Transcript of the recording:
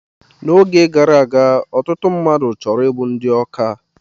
Oge gara aga, ọtụtụ mmadụ chọrọ ịbụ ndị ọkà